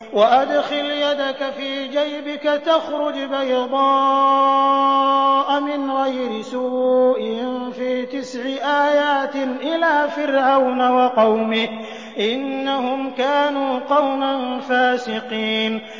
وَأَدْخِلْ يَدَكَ فِي جَيْبِكَ تَخْرُجْ بَيْضَاءَ مِنْ غَيْرِ سُوءٍ ۖ فِي تِسْعِ آيَاتٍ إِلَىٰ فِرْعَوْنَ وَقَوْمِهِ ۚ إِنَّهُمْ كَانُوا قَوْمًا فَاسِقِينَ